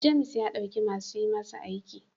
James ya dauki masu yi masa aiki.